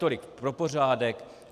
Tolik pro pořádek.